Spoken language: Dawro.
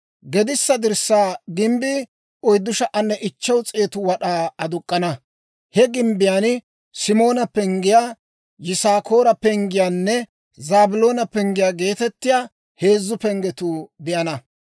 Gedissa dirssaa gimbbii 4,500 wad'aa aduk'k'ana; he gimbbiyaan Simoona penggiyaa, Yisaakoora penggiyaanne Zaabiloona penggiyaa geetettiyaa heezzu penggetuu de'ana.